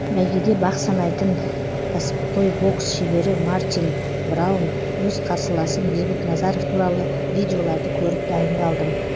бәйгеде бақ санайтын кәсіпқой бокс шебері мартин браун өз қарсыласым бейбіт назаров туралы видеоларды көріп дайындалдым